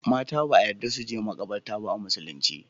Mata ba a yadda suje makabarta ba a musulin ce